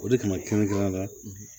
O de kama kɛrɛnkɛrɛnya la